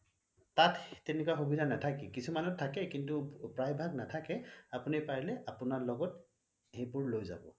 তাত তেনেকুৱা সুবিধা নাথাকে কিছুমানত থাকে কিন্তু প্ৰাই ভাগ নাথাকে কিন্তু আপুনি পাৰিলে সেইবোৰ লয় যাব